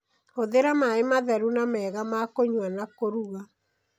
Hũthĩra maĩ matheru na mega ma kũnyua na kũruga.